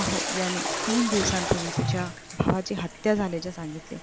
अहो. याने तीन दिवसांपूर्वी तुझ्या भावाची हत्या झाल्याचे सांगितले.